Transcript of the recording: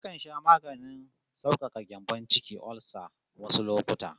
Nakan sha maganin saukaka gyambon ciki (olsa) wasu lokuta